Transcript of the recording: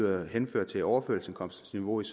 jeg henfører til overførselsindkomstniveauet